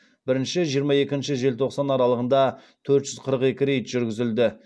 бірінші жиырма екінші желтоқсан аралығында төрт жүз қырық екі рейд жүргізілді